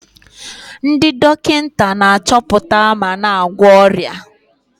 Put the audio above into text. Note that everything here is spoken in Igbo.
Ndị dọkịta na-achọpụta ma na-agwọ ọrịa.